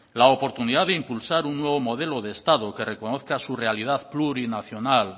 la oportunidad de impulsar un nuevo modelo de estado que reconozca su realidad plurinacional